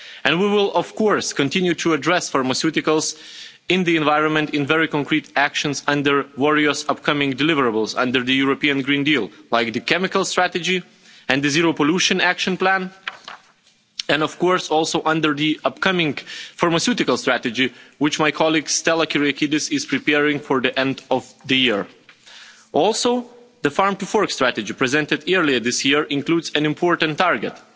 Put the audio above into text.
We will, of course, continue to address pharmaceuticals in the environment in very concrete actions and the various upcoming deliverables under the European Green Deal, like the chemicals strategy and the zero-pollution action plan, and also under the upcoming pharmaceutical strategy, which my colleague Stella Kyriakides is preparing for the end of the year. Also, the farm-to-fork strategy, presented earlier this year, includes an important target.